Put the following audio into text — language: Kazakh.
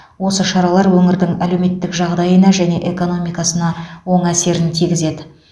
осы шаралар өңірдің әлеуметтік жағдайына және экономикасына оң әсерін тигізеді